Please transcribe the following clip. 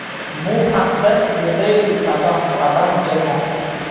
Bu haqda The Daily Sabah xabar bermoqda .